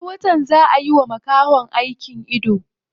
Wani watan zaa a yiwa makahon aikin ido.